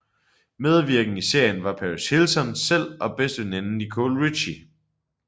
Medvirkende i serien var Paris Hilton selv og bedsteveninden Nicole Richie